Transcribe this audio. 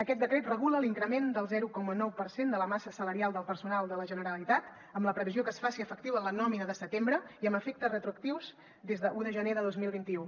aquest decret regula l’increment del zero coma nou per cent de la massa salarial del personal de la generalitat amb la previsió que es faci efectiu en la nòmina de setembre i amb efectes retroactius des d’un de gener de dos mil vint u